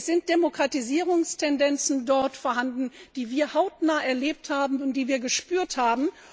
Es sind dort Demokratisierungstendenzen vorhanden, die wir hautnah erlebt und die wir gespürt haben.